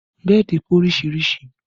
Bẹ́ẹ̀dì pé oríṣiríṣi